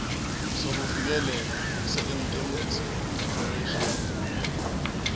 sokuvikeleka seindemnity declaration